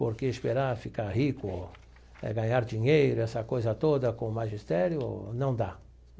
Porque esperar ficar rico, ganhar dinheiro, essa coisa toda com magistério, não dá.